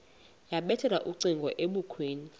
yabethela ucingo ebukhweni